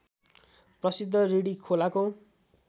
प्रसिद्ध रिडी खोलाको